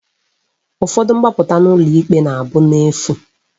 Ụfọdụ mgbapụta n'ụlọ ikpe na abụ n'efu